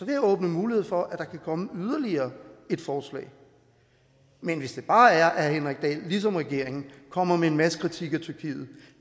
jeg åbne mulighed for at der kan komme yderligere et forslag men hvis det bare er at herre henrik dahl ligesom regeringen kommer med en masse kritik af tyrkiet